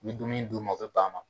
Ni dumuni di u man o bɛ bɛn a man.